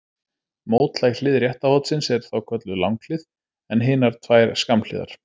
Mótlæg hlið rétta hornsins er þá kölluð langhlið en hinar tvær skammhliðar.